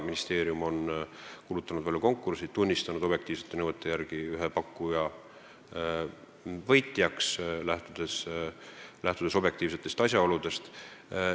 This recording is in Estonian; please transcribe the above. Ministeerium on kuulutanud välja konkursi ning tunnistanud ühe pakkuja võitjaks objektiivsetest asjaoludest lähtudes ja nõuetekohaselt.